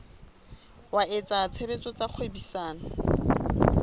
wa etsa tshebetso tsa kgwebisano